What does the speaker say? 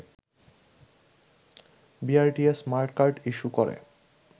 BRTA smart card issue করে